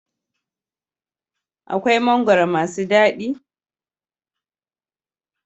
Akwai mangwaro masu dadi?